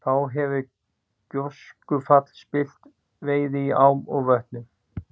Þá hefur gjóskufall spillt veiði í ám og vötnum.